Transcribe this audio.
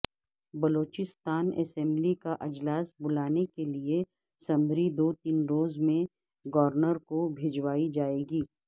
Balochistan assembly کااجلاس بلانے کے لئے سمری دوتین روز میں گورنر کو بھجوائی جائے گی